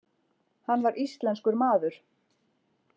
Hann var íslenskur maður.